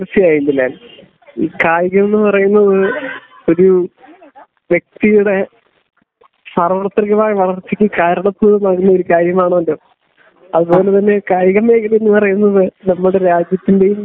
തീർച്ചയായും ബിലാൽ ഈ കായികം എന്ന് പറയുന്നത് ഒരു വ്യക്തിയുടെ സാർവത്രികമായ വളർച്ചയ്ക്ക് കാരണമാകുന്ന ഒരു കാര്യമാണല്ലോ അത്പോലെ തന്നെ കായിക മേഖല എന്ന് പറയുന്നത് നമ്മുടെ രാജ്യത്തിന്റെയും